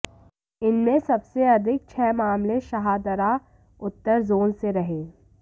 इनमें सबसे अधिक छह मामले शाहदरा उत्तर जोन से रहे